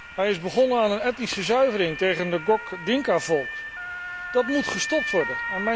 Hij is begonnen aan een etnische zuivering tegen het Ngok Dinkavolk. Dat moet gestopt worden.